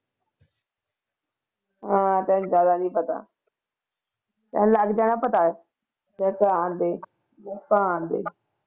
ਹਾਂ ਤੇ ਏਦਾਂ ਦਾ ਨੀ ਪਤਾ ਚੱਲ ਲੱਗ ਜਾਣਾ ਪਤਾ